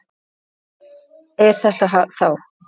Hvaða fjall er þetta þá?